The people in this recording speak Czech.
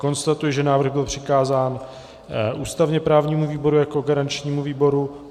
Konstatuji, že návrh byl přikázán ústavně-právnímu výboru jako garančnímu výboru.